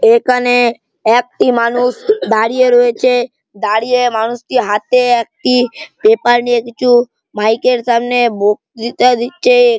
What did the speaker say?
এখানে - এ একটি মানুষ দাঁড়িয়ে রয়েছে দাঁড়িয়ে মানুষটি হাতে একটি পেপার নিয়ে কিছু মাইক এর সামনে বক্তৃতা দিচ্ছে।